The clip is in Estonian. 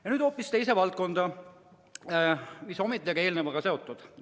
Aga nüüd hoopis teise valdkonda, mis siiski on eelnevaga seotud.